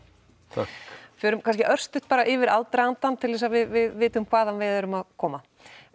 takk förum kannski örstutt yfir aðdragandann til þess að við vitum hvaðan við erum að koma